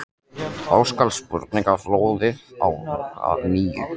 Þá skall spurningaflóðið á að nýju.